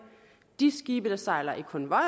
de skibe der sejler i konvoj